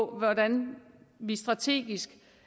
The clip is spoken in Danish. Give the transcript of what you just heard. hvordan vi strategisk